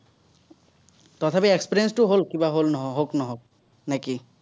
তথাপি experience টো হ'ল, কিবা হল, হওক নহওক। নে কি?